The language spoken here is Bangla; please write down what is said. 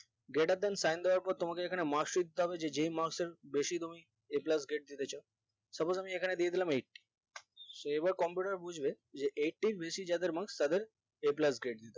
greater than sign দেওয়ার পর তোমাকে এখানে marks ও দিতে হবে যে যেই marks আমি বেশি তুমি a plus grade দিতে চাও suppose আমি এখানে দিয়ে দিলাম eightyso এবার computer বুজবে যে eighty এর বেশি যাদের marks তাদের a plus grade